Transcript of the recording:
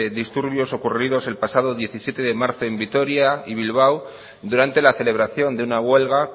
disturbios ocurridos el pasado diecisiete de marzo en vitoria y bilbao durante la celebración de una huelga